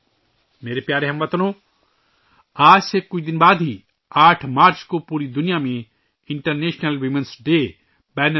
میرے پیارے ہم وطنو، آج سے کچھ دن بعد یعنی 8 مارچ کو پوری دنیا میں 'خواتین کا عالمی دن 'منایا جائے گا